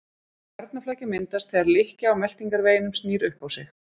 Garnaflækja myndast þegar lykkja á meltingarveginum snýr upp á sig.